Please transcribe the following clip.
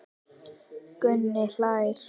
Gunni hlær.